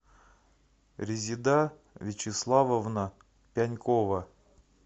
резеда вячеславовна пянькова